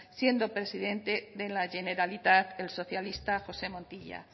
siendo presidente de la generalitat el socialista josé montilla